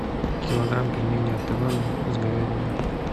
килограмм пельменей от ивана с говядиной